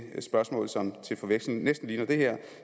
spørgsmål som til forveksling næsten ligner det her